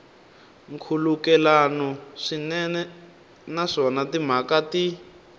nkhulukelano swinene naswona timhaka ti